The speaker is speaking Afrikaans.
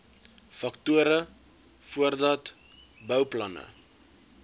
faktore voordat bouplanne